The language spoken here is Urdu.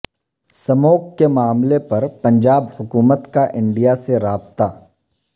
سموگ کے معاملے پر پنجاب حکومت کا انڈیا سے رابطہ